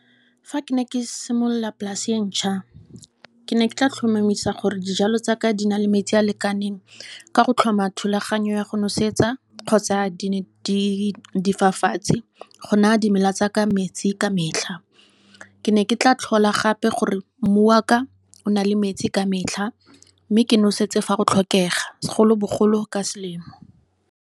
Fa ke ne ke simolola polase e ntsha, ke ne ke tla tlhomamisa gore dijalo tsaka di na le metsi a lekaneng. Ka go tlhoma thulaganyo ya go nosetsa kgotsa di fafatshe. Go naya dimela tsaka metsi ka metlha. Ke ne ke tla tlhola gape gore mmu wa ka, o nale metsi ka metlha. Mme ke nosetse fa go tlhokega, segolobogolo ka selemo.